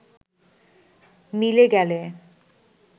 মিলে গেলে